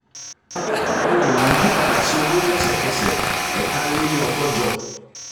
ohun ìní yí padà sí owó lẹ́sẹ̀kẹsẹ̀ lẹ́sẹ̀kẹsẹ̀ ---ẹ̀ta lé ní ọgọ́jọ.